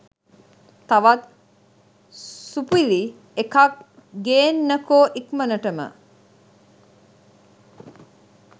තවත් සුපුරි එකක් ගේන්නකො ඉක්මනටම.